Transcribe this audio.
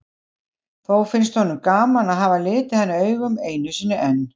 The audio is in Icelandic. Þó finnst honum gaman að hafa litið hana augum einu sinni enn.